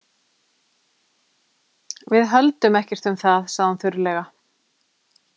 Við höldum ekkert um það, sagði hún þurrlega.